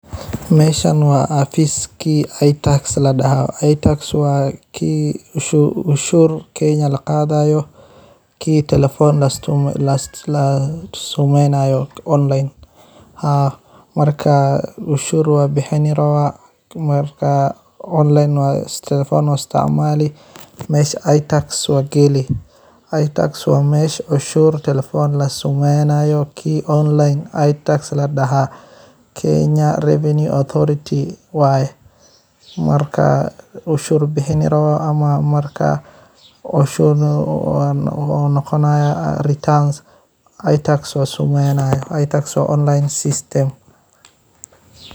Mashan wa xafiski atsxes ladaha ataxes wa ki cashurta kenaya laqadayo, ki talafon la isticmalayo haa marka canshur wad bixini marka online waya talafon u isticmali masha ataxes wax ka heli wa masha cashurta talafon lagu samaynayo ki online ataxes ladaha kenaya reflent adoreter[vs] marka canshur bahan rabah ama marka canshur wa naqonay ataxes waya samayayo wa system,